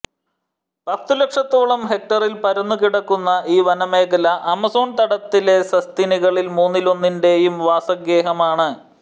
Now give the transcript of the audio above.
പത്തുലക്ഷത്തോളം ഹെക്ടറിൽ പരന്നു കിടക്കുന്ന ഈ വന മേഖല ആമസോൺ തടത്തിലെ സസ്തനികളിൽ മൂന്നിലൊന്നിന്റെയും വാസഗേഹമാണ്